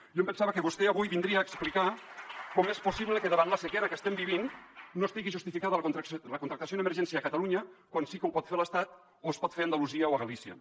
jo em pensava que vostè avui vindria a explicar com és possible que davant la sequera que estem vivint no estigui justificada la contractació en emergència a catalunya quan sí que ho pot fer l’estat o es pot fer a andalusia o a galícia